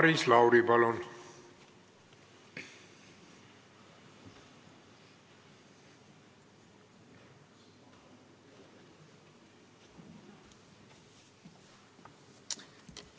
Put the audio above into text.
Maris Lauri, palun!